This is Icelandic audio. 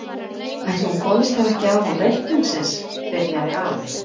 Ætli hún komist þá ekki af án reikningsins. byrjaði afi.